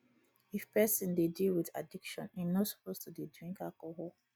if person dey deal with addiction im no suppose to dey drink alcohol